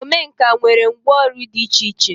Omenkà nwere ngwọ ọrụ dị iche iche.